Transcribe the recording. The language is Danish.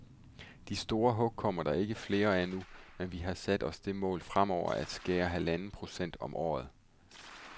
De store hug kommer der ikke flere af nu, men vi har sat os det mål fremover at skære med halvanden procent om året.